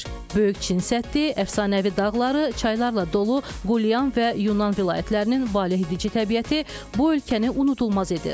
Böyük Çin səddi, əfsanəvi dağları, çaylarla dolu Qulyan və Yunan vilayətlərinin valehedici təbiəti bu ölkəni unudulmaz edir.